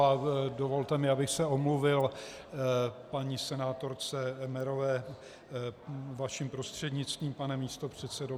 A dovolte mi, abych se omluvil paní senátorce Emmerové, vašim prostřednictvím, pane místopředsedo.